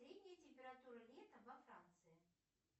средняя температура летом во франции